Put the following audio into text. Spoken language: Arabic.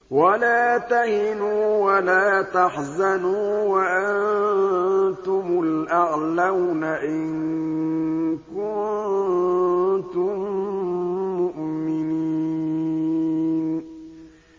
وَلَا تَهِنُوا وَلَا تَحْزَنُوا وَأَنتُمُ الْأَعْلَوْنَ إِن كُنتُم مُّؤْمِنِينَ